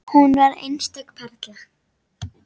Hún var einstök perla.